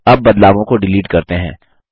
अब बदलावों को डिलीट करते हैं